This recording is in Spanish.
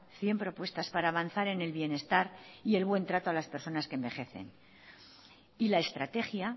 cien propuestas para avanzar en el bienestar y el buen trato a las personas que envejecen y la estrategia